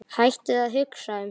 Hættu að hugsa um það.